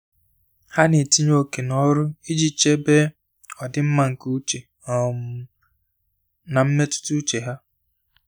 Há nà-ètínye ókè n’ọ́rụ́ iji chèbé ọdịmma nke úchè um na mmetụta úchè ha.